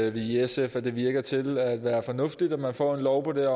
i sf at det virker til at være fornuftigt at man får en lov på det